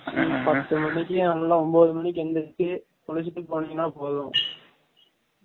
பத்து மனிக்கு நல்லா ஒம்போது மனிக்கு எந்திரிச்சு குலிசிட்டு போனிங்கனா போதும்